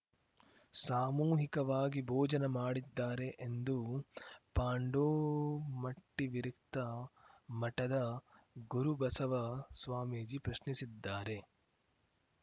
ಸಾಮೂಹಿಕವಾಗಿ ಭೋಜನ ಮಾಡಿದ್ದಾರೆ ಎಂದು ಪಾಂಡೋಮಟ್ಟಿವಿರಕ್ತ ಮಠದ ಗುರುಬಸವ ಸ್ವಾಮೀಜಿ ಪ್ರಶ್ನಿಸಿದ್ದಾರೆ